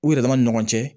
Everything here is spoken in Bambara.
U yɛrɛ dama ni ɲɔgɔn cɛ